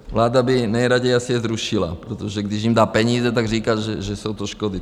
Vláda by nejraději asi je zrušila, protože když jim dá peníze, tak říká, že jsou to škody.